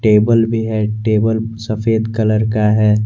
Table भी है table भी सफेद कलर का है।